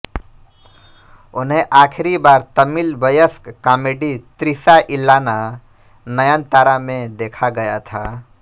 उन्हें आखिरी बार तमिल वयस्क कॉमेडी तृषा इल्लाना नयनतारा में देखा गया था